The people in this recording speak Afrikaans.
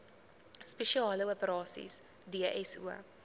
spesiale operasies dso